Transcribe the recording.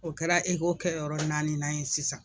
O kɛra ECHO kɛyɔrɔ naaninan ye sisan.